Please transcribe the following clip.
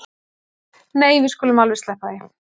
Nei við skulum alveg sleppa því